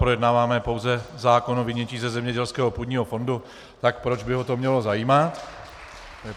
Projednáváme pouze zákon o vynětí ze zemědělského půdního fondu, tak proč by ho to mělo zajímat.